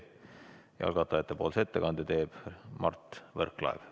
Algatajate nimelt teeb ettekande Mart Võrklaev.